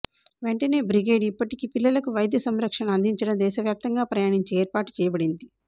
వెంటనే బ్రిగేడ్ ఇప్పటికీ పిల్లలకు వైద్య సంరక్షణ అందించడం దేశవ్యాప్తంగా ప్రయాణించే ఏర్పాటు చేయబడింది